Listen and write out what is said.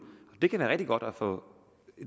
det kan være rigtig godt at få